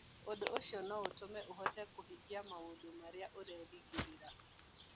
Ũndũ ũcio no ũtũme ũhoteke kũhingia maũndũ marĩa ũrerĩgĩrĩra.